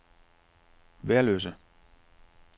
Værløse